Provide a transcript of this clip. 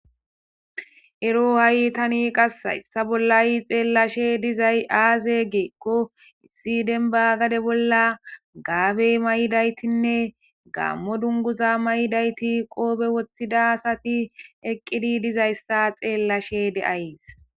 Ero ha'i tani qas hayssa bollay xeellashe dizay aaze geeqko issi denbagade bolla gaabey may7daytinne gaammo dunguza mayidayti qoobe woththidasati eqqidi dizayssa xeellashe de'ays.